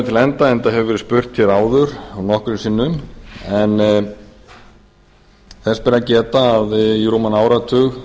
til enda enda hefur verið spurt hér áður nokkrum sinnum en þess ber að geta að í rúman áratug